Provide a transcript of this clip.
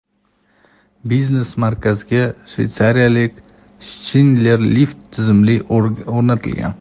Biznes markazga Shveytsariyaning Schindler lift tizimi o‘rnatilgan.